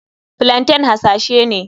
Plaintain hasashe ne.